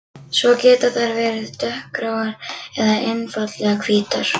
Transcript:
Svo geta þær verið dökkgráar eða einfaldlega hvítar.